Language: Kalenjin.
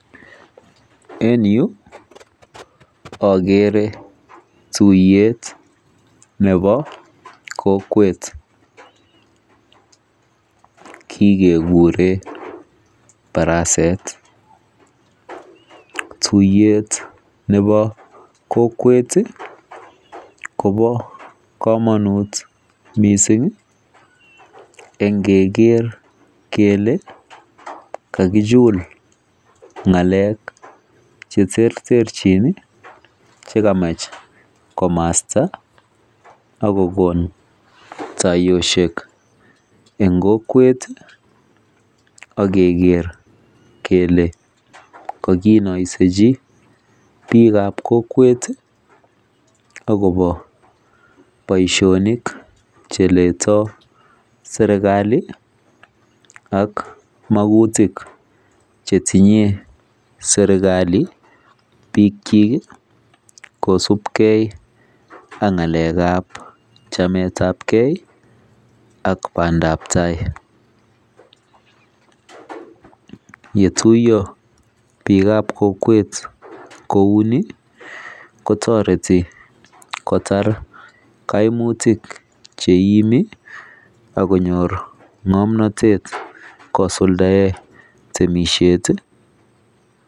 En Yu agere tuiyet Nebo kokwet kikeguren baraset tuiyet Nebo kokwet Koba kamanut mising en keger kele kakichul ngalek cheterterchin chekamach komasta akokon tayoshek en kokwet ageger kele kakinaisechi bik ab kokwet akoba baishoni cheleto serikali ak makutik chetinye serikali bik chik kosubegei ako ngalek ab chamet ab gei ak bandai tai yetuiyo bik ab kokwet kouni Ni kotareti kotar kaimuyik cheimi akonyor ngamnatet kosuldae ak temishet